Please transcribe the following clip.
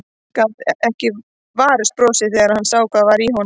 Gat ekki varist brosi þegar hann sá hvað var í honum.